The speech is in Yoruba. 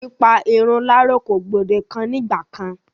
Pípa irun láro kò gbòdekan ní ìgba kán.